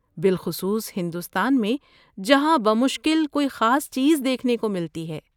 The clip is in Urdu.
بالخصوص ہندوستان میں جہاں بمشکل کوئی خاص چیز دیکھنے کو ملتی ہے!